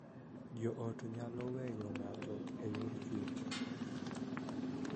Jo ot nyalo weyo ng�ato e yor chuny